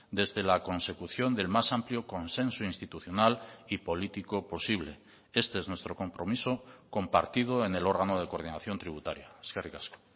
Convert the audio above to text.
desde la consecución del más amplio consenso institucional y político posible este es nuestro compromiso compartido en el órgano de coordinación tributaria eskerrik asko